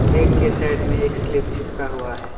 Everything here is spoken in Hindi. गेट के साइड में एक स्लिप चिपका हुआ है।